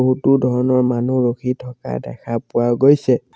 বহুতো ধৰণৰ মানুহ ৰখি থকা দেখা পোৱা গৈছে।